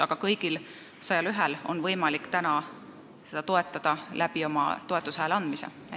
Aga kõigil 101-l on võimalik täna seda toetada oma hääle andmisega.